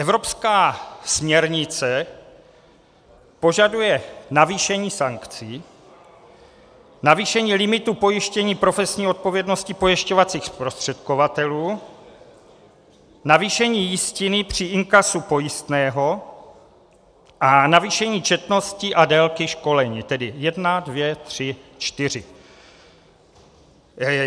Evropská směrnice požaduje navýšení sankcí, navýšení limitů pojištění profesní odpovědnosti pojišťovacích zprostředkovatelů, navýšení jistiny při inkasu pojistného a navýšení četnosti a délky školení, tedy jedna, dvě, tři, čtyři.